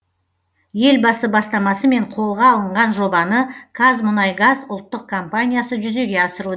елбасы бастамасымен қолға алынған жобаны казмұнайгаз ұлттық компаниясы жүзеге асыруд